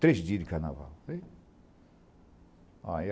Três dias de carnaval.